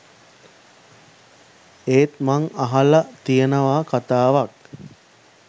එත් මං අහල තියනවා කතාවක්